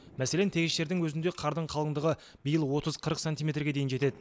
мәселен тегіс жердің өзінде қардың қалыңдығы биыл отыз қырық сантиметрге дейін жетеді